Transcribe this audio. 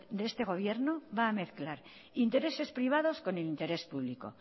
de este gobierno va a mezclar intereses privados con interés público